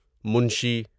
منشی